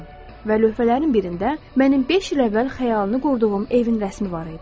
Və lövhələrin birində mənim beş il əvvəl xəyalını qurduğum evin rəsmi var idi.